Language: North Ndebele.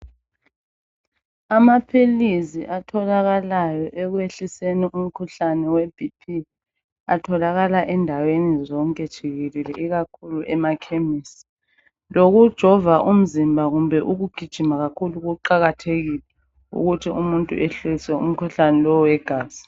Amaphilizi atholakalayo ekwehliseni umkhuhlane weBP, atholaka endaweni zonke jikelele ikakhulu emakhemisi. Lokujova umzimba kumbe ukugijima kakhulu kuqakathekile ukuthi umuntu ehlise umkhuhlane lo wegazi.